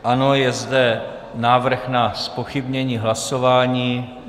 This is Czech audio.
Ano, je zde návrh na zpochybnění hlasování.